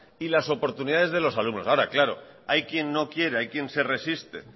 y las oportunidades de los alumnos ahora claro hay quien no quiere hay quien se resiste